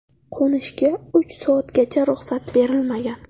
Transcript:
Qo‘nishga uch soatgacha ruxsat berilmagan.